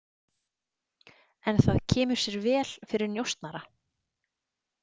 En það kemur sér vel fyrir njósnara.